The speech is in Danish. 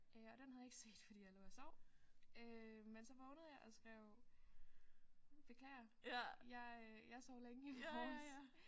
Øh og den havde jeg ikke set fordi jeg lå og sov øh men så vågnede jeg og skrev beklager jeg øh jeg sov længe i morges